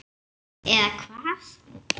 Eða hvað.?